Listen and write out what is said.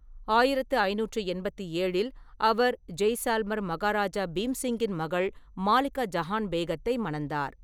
ஆயிரத்து ஐநூற்றி எண்பத்தி ஏழில் அவர் ஜெய்சால்மர் மகாராஜா பீம் சிங்கின் மகள் மாலிகா ஜஹான் பேகத்தை மணந்தார்.